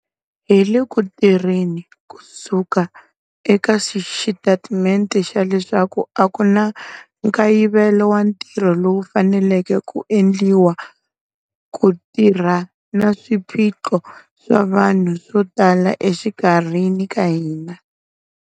Hi le ku tirheni kusuka eka xitatimente xa leswaku a ku na nkayivelo wa ntirho lowu faneleke ku endliwa ku tirhana na swiphiqo swa vanhu swo tala exikarhini ka hina.